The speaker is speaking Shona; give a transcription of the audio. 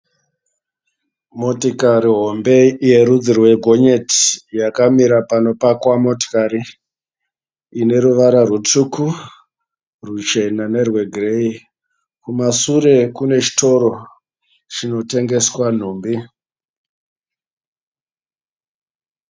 Motikari hombe yerudzi rwe gonyeti. Yakamira panopakwa motokari ine ruvara rutsvuku, ruchena ,nerwe gireyi. Kumasure kunechitoro chinotengeswa nhumbi.